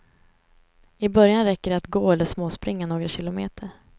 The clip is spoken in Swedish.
I början räcker det att gå eller småspringa några kilometer.